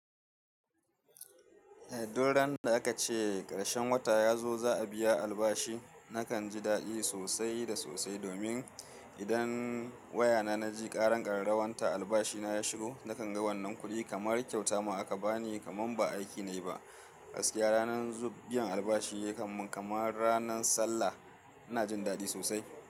Eh, duk ran da aka ce ƙarshen wata ya zo za a biya albashi, nakan ji daɗi sosai da sosai domin idan wayana na ji ƙaran ƙararrawan ta albashina ya shigo, nakan ga wannan kuɗi kamar kyauta ma aka bani kamar ba aiki nayi ba. Gaskiya ranar zub biyan albashi kamar, kamar ranan sallah ina jin daɗi sosai.